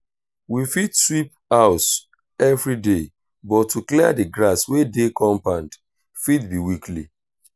we fit sweep house everyday but to clear di grass wey dey compound fit be weekly